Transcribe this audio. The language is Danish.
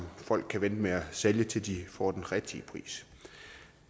folk kan vente med at sælge til de får den rigtige pris